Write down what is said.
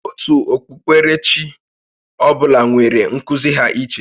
Òtù okpukpere chi ọ bụla nwèrè nkuzi ha iche